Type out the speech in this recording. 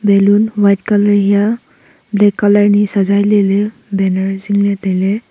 balloon white color hiya black color ni sajai leley banner zingley tailey.